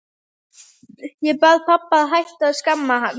Ég bað pabba að hætta að skamma hann.